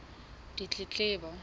ditletlebo